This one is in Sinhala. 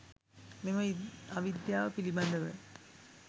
මෙම අවිද්‍යාව පිළිබඳව